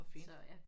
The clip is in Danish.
Så ja